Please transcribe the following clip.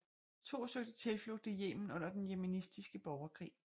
To søgte tilflugt i Yemen under den yemenitiske borgerkrig